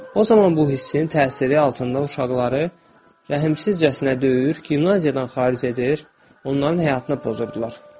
O zaman bu hissin təsiri altında uşaqları rəhmsizcəsinə döyür, gimnaziyadan xaric edir, onların həyatını pozurdular.